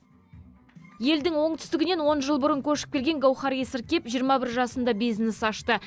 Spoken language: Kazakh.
елдің оңтүстігінен он жыл бұрын көшіп келген гауһар есіргеп жиырма бір жасында бизнес ашты